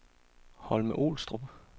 Holme-Olstrup